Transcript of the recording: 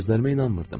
Gözlərimə inanmırdım.